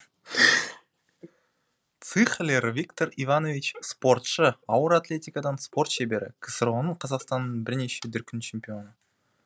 цыхлер виктор иванович спортшы ауыр атлетикадан спорт шебері ксро ның қазақстанның бірнеше дүркін чемпионы